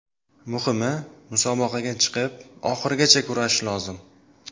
Muhimi, musobaqaga chiqib, oxirigacha kurashish lozim.